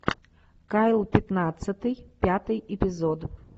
кайл пятнадцатый пятый эпизод